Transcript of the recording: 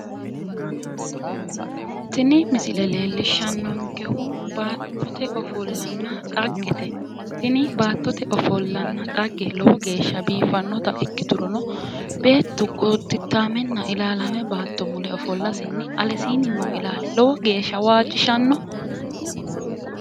Tini misile leellishshannonkehu baattote ofollonna dhaggete. Tini baattote ofollanna dhagge lowo geeshsha biiffinnota ikkiturono beettu gooddittaamenna ilaalaame baatto mule ofollasinni alesiinni noo ilaali lowo geeshsha waajjishannoho.